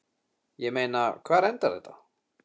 Ég meina, hvar endar þetta?